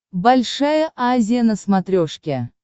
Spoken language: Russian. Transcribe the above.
большая азия на смотрешке